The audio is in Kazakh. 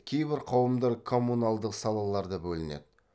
кейбір қауымдар коммуналдық салаларда бөлінеді